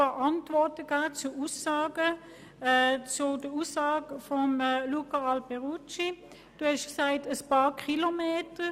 Zur Aussage von Grossrat Alberucci: Sie haben gesagt: «ein paar Kilometer».